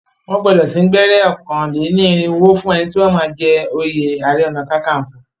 Wọ́n gbọdọ sín gbẹ́rẹ́ ọ̀kàn lẹ́ ní ìrìnwó fún ẹni tí o máa jẹ oyè ààrẹ ọ̀nà-kakanfọ̀.